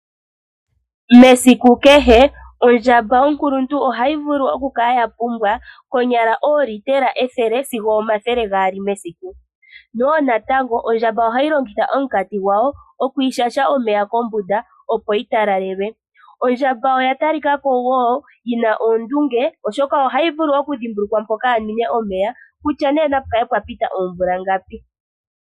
Mesiku kehe oondjamba onkuluntu ohayi vulu oku kala ya pumbwa konyala oolitela ethele sigo omathele gaali mesiku. Nowo natango ondjamba ohayi longitha omunkati gwayo oku ishasha omeya kombunda opo yi talalelwe. Ondjala oya talikako wo yina oondunge oshoka ohayi dhimbulukwa mpoka yanwine omeya. Kutya opu kale pwa pita oomvula.